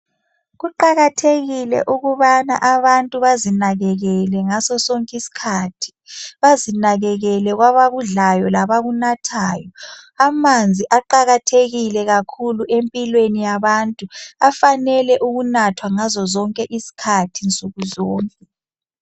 Kuqakathekile ukubana abantu bazinakekele ngaso sonkisikhathi. Bazinakekele kwabakudlayo labakunathayo. Amanzi aqakathekile kakhulu empilweni yabantu afanele ukunathwa ngazozonke isikhathi nsukuzonke.